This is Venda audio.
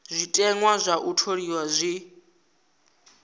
zwiteṅwa zwa u tholiwa zwi